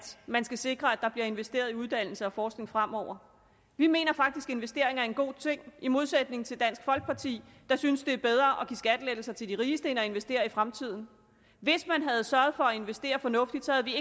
man skal sikre at der bliver investeret i uddannelse og forskning fremover vi mener faktisk at investering er en god ting i modsætning til dansk folkeparti der synes det er bedre at give skattelettelser til de rigeste end at investere i fremtiden hvis man havde sørget for at investere fornuftigt så ville